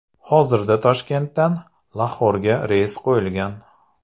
Hozirda Toshkentdan Laxorga reys qo‘yilgan.